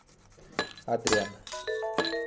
Adrijan.